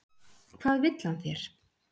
Hvað vill hann þér?